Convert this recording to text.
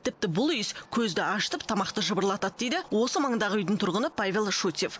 тіпті бұл иіс көзді ашытып тамақты жыбырлатады дейді осы маңындағы үйдің тұрғыны павел шутьев